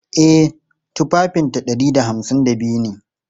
E, tufafinta ɗari da hamsin da biyu ne.